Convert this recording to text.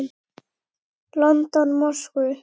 London, Moskvu.